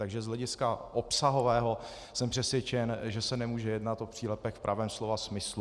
Takže z hlediska obsahového jsem přesvědčen, že se nemůže jednat o přílepek v pravém slova smyslu.